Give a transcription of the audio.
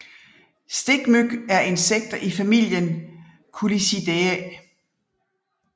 Stikmyg er insekter i familien Culicidae